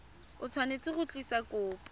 o tshwanetse go tlisa kopo